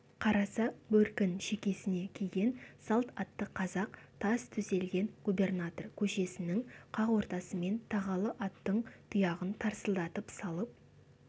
қараса бөркін шекесіне киген салт атты қазақ тас төселген губернатор көшесінің қақ ортасымен тағалы аттың тұяғын тарсылдатып салып